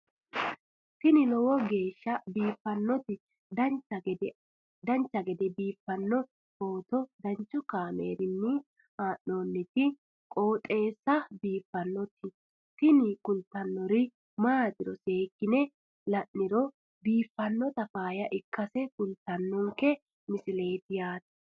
tini lowo geeshsha biiffannoti dancha gede biiffanno footo danchu kaameerinni haa'noonniti qooxeessa biiffannoti tini kultannori maatiro seekkine la'niro biiffannota faayya ikkase kultannoke misileeti yaate